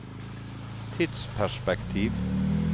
tidsperspektiv